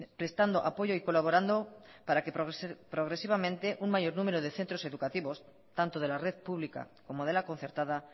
prestando apoyo y colaborando para que progresivamente un mayor número de centros educativos tanto de la red pública como de la concertada